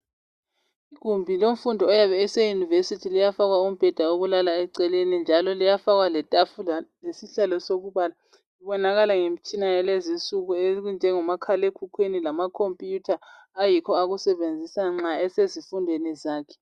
Igumbi lomfundi oyabe eseyunivesithi liyafakwa umbheda owokulala eceleni njalo liyafakwa letafula lesihlalo sokubala. Libonakala ngemitshina yalezinsuku enjengomakhalekhukhwini lamakhompuyutha ayikho akusebenzisa nxa esezifundweni zakhe.